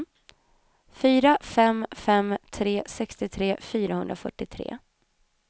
fyra fem fem tre sextiotre fyrahundrafyrtiotre